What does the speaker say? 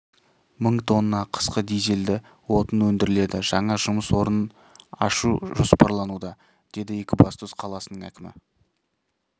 мың тонна қысқы дизельді отын өндіріледі жаңа жұмыс орнын ашу жоспарлануда деді екібастұз қаласының әкімі